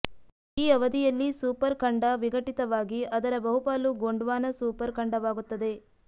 ಈ ಅವಧಿಯಲ್ಲಿ ಸೂಪರ್ ಖಂಡ ವಿಘಟಿತವಾಗಿ ಅದರ ಬಹುಪಾಲು ಗೊಂಡ್ವಾನ ಸೂಪರ್ ಖಂಡವಾಗುತ್ತದೆ